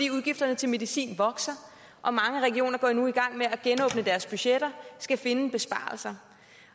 udgifterne til medicin vokser og mange regioner går nu i gang med at genåbne deres budgetter og skal finde besparelser